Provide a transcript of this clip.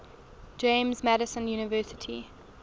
james madison university